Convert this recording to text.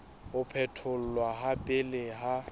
ho phetholwa ha pele ha